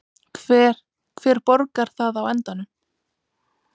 Hver, hver borgar það á endanum?